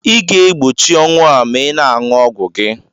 Ị ga-egbochi ọnwụ a ma ị na-ṅụ ọgwụ gị.